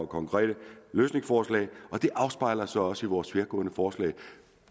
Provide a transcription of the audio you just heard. konkrete løsningsforslag og det afspejler sig også i vores tværgående forslag